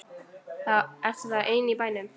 Ertu þá ein í bænum?